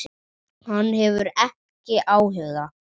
Hann hefur ekki áhuga.